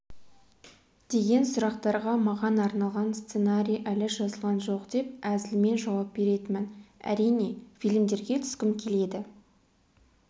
деген сұрақтарға маған арналған сценарий әлі жазылған жоқ деп әзілмен жауап беретінмін әрине фильмдерге түскім келеді